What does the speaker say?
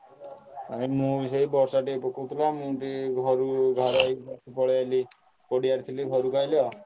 ଭାଇ ମୁଁ ବି ସେଇ ବର୍ଷା ଟିକେ ପକଉଥିଲା ମୁଁ ବି ଘରୁ ପଳେଇଆଇଲି ଏଠି ପଡିଆରେ ଥିଲି ଘରୁକୁ ଆଇଲି ଆଉ।